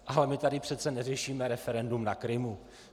Ale my tady přece neřešíme referendum na Krymu.